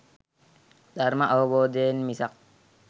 ධර්ම අවබෝධයෙන් මිසක්